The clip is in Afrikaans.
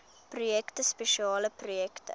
projekte spesiale projekte